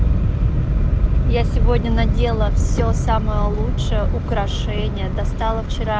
я сегодня надела все самое лучшее украшение достала вчера